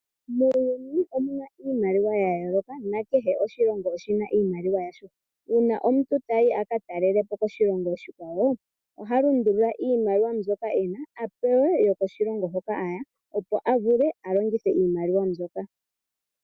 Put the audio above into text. Muuyuni omuna iimaliwa yayooloka nakehe oshilingo oshina iimaliwa yasho uuna omuntu tayi aka talelepo koshilongo oshikwawo oha lundulula iimaliwa mbyoka ena apewe yokoshilongo hoka aya opo avule alongithe iimaliwa mbyoka.